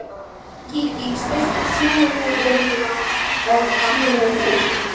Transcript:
Gígí, stilltu tímamælinn á tíu mínútur.